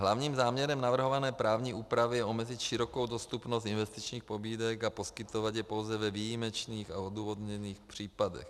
Hlavním záměrem navrhované právní úpravy je omezit širokou dostupnost investičních pobídek a poskytovat je pouze ve výjimečných a odůvodněných případech.